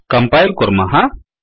कम्पायिल् कुर्मः